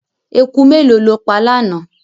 Eku mélòó ló pa lánàá.